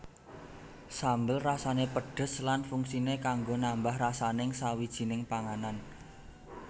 Sambel rasané pedhes lan fungsiné kanggo nambah rasaning sawijining panganan